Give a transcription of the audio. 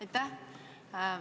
Aitäh!